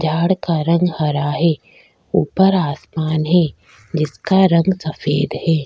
झाड़ का रंग हरा हैं ऊपर आसमान है जिसका रंग सफ़ेद हैं।